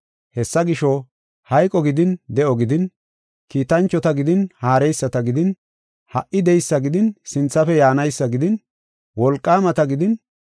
Hessa gisho, hayqo gidin de7o gidin kiitanchota gidin haareyisata gidin ha77i de7eysa gidin sinthafe yaanaysa gidin wolqaamata gidin,